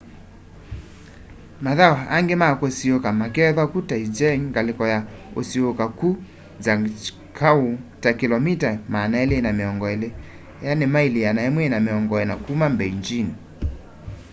mathau angi ma kusiuuka makeethwa kuu taizicheng ngaliko ya usiuuka kuu zhangjiakou ta kilomita 220 maili 140 kuma mbeijini